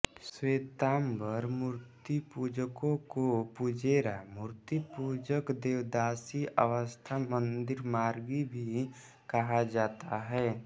श्वेतांबर मूर्तिपूजकों को पुजेरा मूर्तिपुजक देरावासी अथवा मंदिरमार्गी भी कहा जाता है